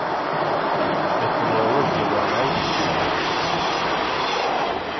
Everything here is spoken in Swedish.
Efter några år blev jag allergisk mot vätskorna.